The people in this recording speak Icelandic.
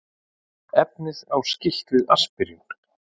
Efnið á skylt við aspirín.